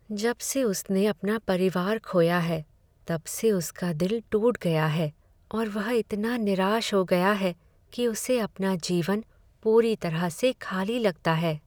जब से उसने अपना परिवार खोया है तब से उसका दिल टूट गया है और वह इतना निराश हो गया है कि उसे अपना जीवन पूरी तरह से खाली लगता है।